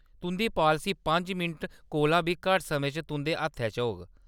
तुंʼदी पालसी पंज मिंट कोला बी घट्ट समें च तुंʼदे हत्थै च होग।